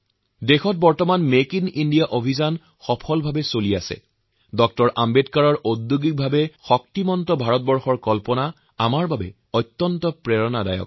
আজি যেতিয়া সমগ্ৰ দেশে মেক ইন ইণ্ডিয়া প্ৰকল্পৰ সাফল্যৰ সৈতে অগ্ৰসৰ হৈছে তেতিয়া তেওঁৰ সেই স্বপ্নদৰ্শীতাই আমাৰ বাবে প্ৰেৰণা